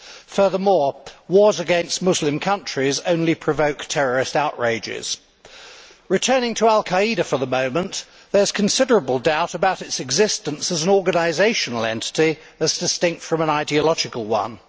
Furthermore, wars against Muslim countries only provoke terrorist outrages. Returning to al Qaeda for a moment, there is considerable doubt about its existence as an organisational entity, as distinct from an ideological one.